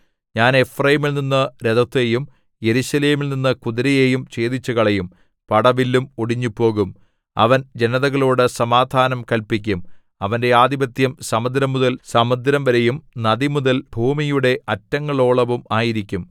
ഞാൻ എഫ്രയീമിൽനിന്നു രഥത്തെയും യെരൂശലേമിൽ നിന്നു കുതിരയെയും ഛേദിച്ചുകളയും പടവില്ലും ഒടിഞ്ഞുപോകും അവൻ ജനതകളോടു സമാധാനം കല്പിക്കും അവന്റെ ആധിപത്യം സമുദ്രംമുതൽ സമുദ്രംവരെയും നദിമുതൽ ഭൂമിയുടെ അറ്റങ്ങളോളവും ആയിരിക്കും